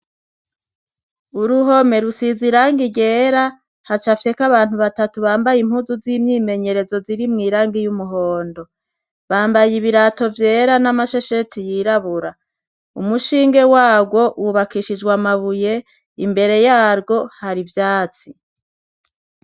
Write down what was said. Uruhome rusize irangi ryera. Hacafyeko abantu batatu bambaye impuzu z'imyimenyerezo ziri mw'irangi y'umuhondo. Bambaye ibirato vyera n'amashesheti yirabura. Umushinge wagwo wubakishijwe amabuye imbere yarwo hari ivyatsi.